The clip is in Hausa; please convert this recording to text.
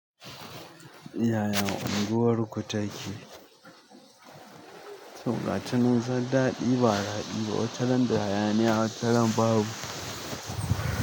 Yaya unguwarku take? To ga tanin zaddaɗi ba daɗi ba, wataran da hayaniya wataran babu.